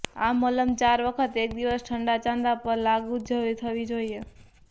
આ મલમ ચાર વખત એક દિવસ ઠંડા ચાંદા પર લાગુ થવી જોઈએ